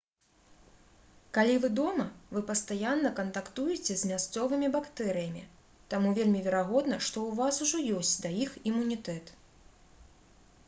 калі вы дома вы пастаянна кантактуеце з мясцовымі бактэрыямі таму вельмі верагодна што ў вас ужо ёсць да іх імунітэт